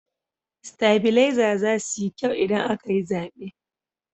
Sitabilezar zasu yi kyau idan aka yi zaɓe.